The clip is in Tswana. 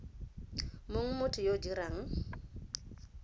mong motho yo o dirang